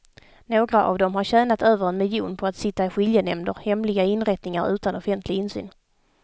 Några av dem har tjänat över en miljon på att sitta i skiljenämnder, hemliga inrättningar utan offentlig insyn.